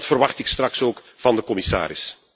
Die verwacht ik straks ook van de commissaris.